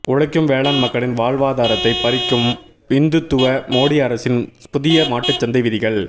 உழைக்கும் வேளாண் மக்களின் வாழ்வாதாரத்தைப் பறிக்கும் இந்துத்துவ மோடி அரசின் புதிய மாட்டுச் சந்தை விதிகள்